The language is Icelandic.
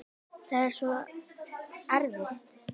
Það var svo erfitt.